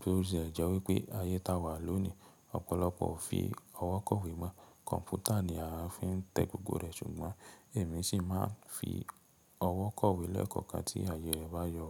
Bóòzi, ẹ̀ jẹ wí pé ayé ta wa lónìí ọ̀pọ̀lọpọ̀ ò fi ọwọ́ kọ̀wé mọ́. Kọ̀m̀pútà ni a fi ń tẹ gbogbo rẹ̀ ṣùgbọ́n èmi sì máa ń fi ọwọ́ kọ̀wé lẹ́ẹ̀kọ̀kan tí ayé ẹbá yọ.